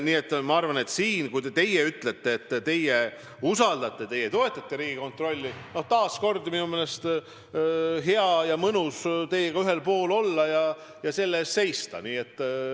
Nii et kui teie ütlete, et teie usaldate, teie toetate Riigikontrolli – siis on minu meelest hea ja mõnus teiega ühel pool olla ja selle eest seista.